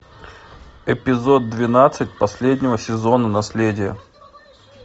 эпизод двенадцать последнего сезона наследие